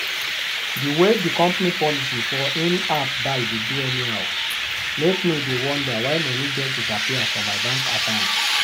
the way the company policy for in-app buy dey do anyhow make me dey wonder why money just disappear from my bank account.